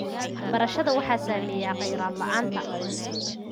Waxbarashadda waxaa saameeya kheyraad la�aan.